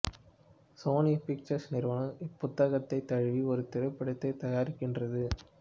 Sony Pictures நிறுவனம் இப்புத்தகத்தை தழுவி ஒரு திரைப்படத்தை தயாரிக்கின்றது